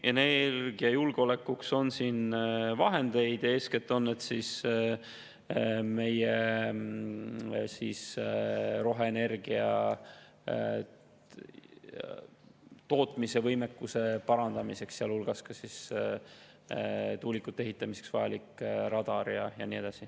Energiajulgeolekuks on siin vahendeid, eeskätt on need meie roheenergia tootmise võimekuse parandamiseks, sealhulgas tuulikute ehitamiseks vajaliku radari jaoks ja nii edasi.